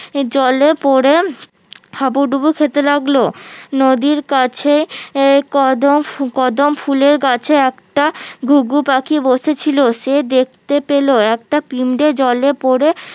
জলে পরে হাবুডুবু খেতে লাগলো নদীর কাছে আহ কদম কদম ফুলের গাছে একটা ঘুঘু পাখি বসেছিল সে দেখতে পেলো একটা পিমরে জলে পরে